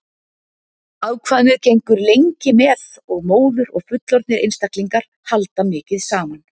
Afkvæmið gengur lengi með móður og fullorðnir einstaklingar halda mikið saman.